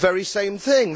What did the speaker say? The very same thing.